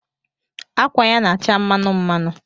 Akwa ya na-acha mmanụ mmanụ